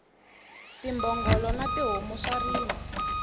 timbhongolo na tihomu swa rima